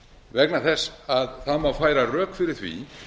vegna þess að það má færa rök fyrir því